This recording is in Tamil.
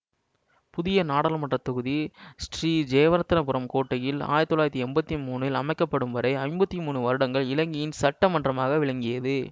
புதிய நாடாளுமன்ற தொகுதி சிறீ ஜெயவர்த்தனபுரம் கோட்டையில் ஆயிரத்தி தொள்ளாயிரத்தி எம்பத்தி மூன்னில் அமைக்க படும் வரை ஐம்பத்தி மூன்று வருடங்கள் இலங்கையின் சட்ட மன்றமாக விளங்கியது